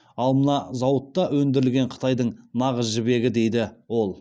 ал мына зауытта өндірілген қытайдың нағыз жібегі дейді ол